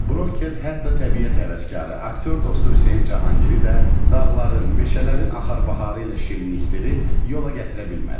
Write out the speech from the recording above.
Broker hətta təbiət həvəskarı, aktyor dostu Hüseyn Cahangiri də dağların, meşələrin axar-baxarı ilə şirinlikdirib yola gətirə bilmədi.